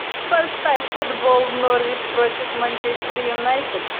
поставь футбол норвич против манчестер юнайтед